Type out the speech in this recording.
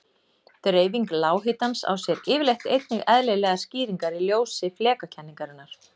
Dreifing lághitans á sér yfirleitt einnig eðlilegar skýringar í ljósi flekakenningarinnar.